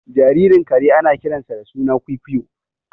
Jaririn kare ana kiransa da suna kwuikuyo